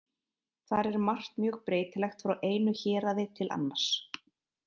Þar er margt mjög breytilegt frá einu héraði til annars.